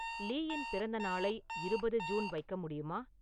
லீயின் பிறந்தநாளை இருபது ஜூன் வைக்க முடியுமா